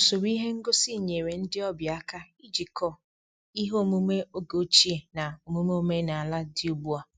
Usoro ihe ngosi nyere ndị ọbịa aka ijikọ ihe omume oge ochie na omume omenala dị ugbu a